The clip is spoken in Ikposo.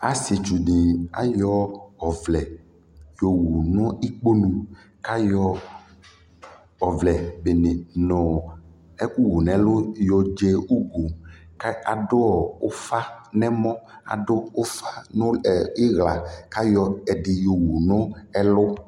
tʋ adɛka wani akala nʋ itdza, ɛlʋtɛ atani ɛwlɛtʋ dʋnʋ kɔnʋ li, adʋ ɛkʋni nʋ ɔmɔ adʋ ɛdibi nʋ ila ʋwɔ kʋ akɔ agbavlɛ kʋ adʋ dʋkʋ ni nʋɔ ɔna kʋ aka la kʋ imʋ avɛ kʋ alʋ ka kɔsʋ ma nʋitdza, aka zɛvi kɔnʋ la wa, ataniadɛmʋ bʋɛ nʋ ɔmʋ